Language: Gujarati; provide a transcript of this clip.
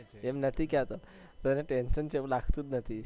એમ નથી કેતો તને tension છે એવું લાગતું નથી.